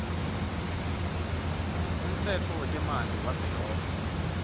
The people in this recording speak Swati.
umtsetfo wetemanti wavelonkhe